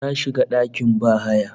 Na shiga dakin bahaya